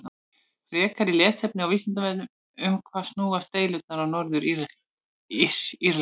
Frekara lesefni á Vísindavefnum: Um hvað snúast deilurnar á Norður-Írlandi?